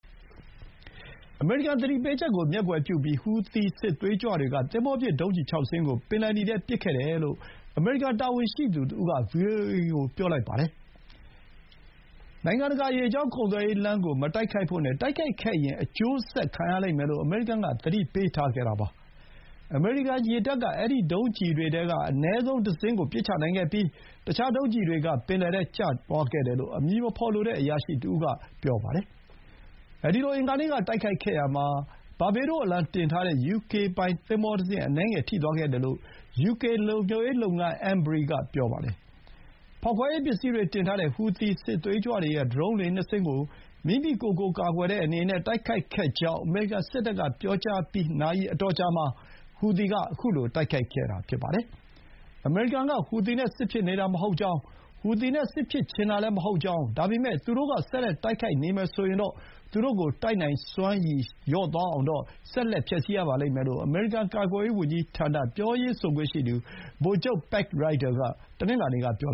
အမေရိကန်သတိပေးချက်ကို မျက်ကွယ်ပြုပြီး ဟူသီစစ်သွေးကြွတွေက သင်္ဘောပစ် ဒုံးကျည် ၆ စင်းကို ပင်လယ်နီထဲပစ်ခဲ့တယ်လို့ အမေရိကန် တာဝန်ရှိသူတဦးက ဗွီအိုအေကိုပြောပါတယ်။ နိုင်ငံတကာရေကြောင်း ကုန်သွယ်ရေးလမ်းကို မတိုက်ခိုက်ဖို့နဲ့တိုက်ခိုက်ခဲ့ရင် အကျိုးဆက်ခံရလိမ့်မယ်လို့ အမေရိကန်က သတိပေးထားတာပါ။ အမေရိကန် ရေတပ်က အဲဒီဒုံးကျည်တွေထဲက အနည်းဆုံးတစင်းကိုပစ်ချနိုင်ခဲ့ပြီး အခြား ဒုံးကျည်တွေက ပင်လယ်ထဲကျသွားခဲ့တယ်လို့ အမည်မဖော်လိုတဲ့ အရာရှိတဦး က ဆိုပါတယ်။ အင်္ဂါနေ့က အဲဒီလိုတိုက်ခိုက်ခဲ့ရာမှာ ဘာဘေးဒိုး အလံတင်ထားတဲ့ ယူကေပိုင်သင်္ဘောတစင်း အနည်းငယ်ထိသွားခဲ့တယ်လို့ ယူကေ လုံခြုံရေး လုပ်ငန်း အမ်ဘရီ Ambrey က ပြောပါတယ်။ ဖောက်ခွဲရေးပစ္စည်းတွေတင်ထားတဲ့ ဟူသီစစ်သွေးကြွတွေရဲ့ ဒရုန်းလှေ ၂ စင်း ကို မိမိကိုယ်ကိုကာကွယ်တဲ့နေနဲ့ တိုက်ခိုက်ခဲ့ကြောင်း အမေရိကန် စစ်တပ်က ပြောပြီး နာရီအတော်ကြာမှာ ဟူသီက ခုလို တိုက်ခိုက်ခဲ့တာဖြစ်ပါတယ်။ အမေရိကန်က ဟူသီနဲ့ စစ်ဖြစ်နေတာမဟုတ်ကြောင်း၊ ဟူသီနဲ့စစ်ဖြစ်ချင်တာလည်း မဟုတ်ကြောင်း၊ ဒါပေမဲ့ သူတို့က ဆက်လက် တိုက်ခိုက်နေမယ်ဆိုရင်တော့ သူတို့တိုက်နိုင်စွမ်းကိုတော့ ဆက်လက်ဖျက်ဆီးရပါလိမ့်မယ်လို့ အမေရိကန် ကာကွယ်ရေးဝန်ကြီးဌာန ပြောရေးဆိုခွင့်ရှိသူ ဗိုလ်ချုပ် ပက်ရိုက်ဒါ (Pat Ryder) က တနင်္လာနေ့က ပြော